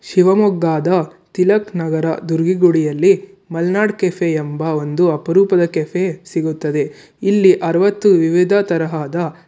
ಶಿವಮೊಗ್ಗಾದ ತಿಲಕ್ ನಗರ ದುರ್ಗಿಗುಡಿಯಲ್ಲಿ ಮಲ್ನಾಡ್ ಕೆಫೆ ಎಂಬ ಒಂದು ಅಪರೂಪದ ಕೆಫೆ ಸಿಗುತ್ತದೆ ಇಲ್ಲಿ ಅರ್ವತ್ತು ವಿವಿಧ ತರಹದ --